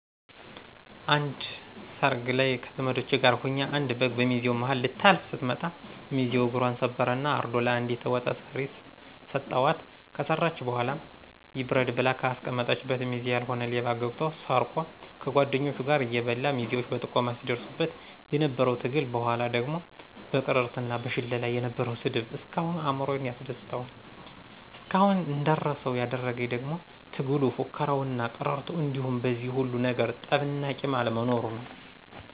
አንድ ሰርግ ላይ ከዘመዶቸ ጋር ሁኘ አንድ በግ በሚዜው ማሀል ልታልፍ ስትመጣ ሚዚው እግፘን ሰበረ እና አርዶ ለአንዲት ወጥ ሰሪ ሰተዋት ከሰራች በኋላ ይብረድ ብላ ከአስቀመጠችበት ሚዜ ያልሆነ ሌባ ገብቶ ሰርቆ ከጓድኞቹ ጋር እየበላ ሚዜዎች በጥቆማ ሲድርሱበት የነበረው ትግል በኋላ ደግሞ በቅርርት እና በሽለላ የነበረው ስድብ እስካሁን አእምሮየን ያስደስተዋል። እስካሁን እንዳረሳው ያደረግኝ ደግሞ ትግሉ፣ ፉከራው እና ቅርርቶው እንዲሁም በዚህ ሁሉ ነገር ጠብ እና ቂም አለመኖሩ ነው።